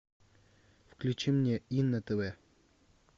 включи мне и на тв